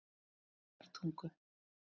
Eyvindartungu